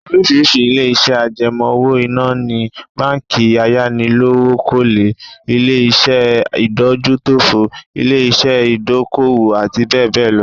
Oríṣìí ilé-iṣẹ́ àjẹmọ́ owó-ìná ni:, báńkì ayánilówókọ́lé, ilé-iṣẹ́ ìdójútòfò, ilé-iṣẹ́ ìdókòwò àti bẹ́ẹ̀ bẹ́ẹ̀ lọ